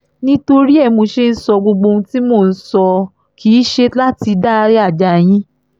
nítorí ẹ ní mo ṣe ń sọ gbogbo ohun tí mò ń sọ kì í ṣe láti dáyà já yín